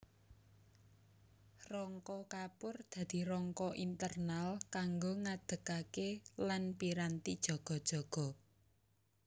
Rangka kapur dadi rangka internal kanggo ngadegkaké lan piranti jaga jaga